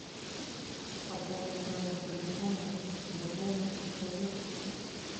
пополнить номер телефона другому человеку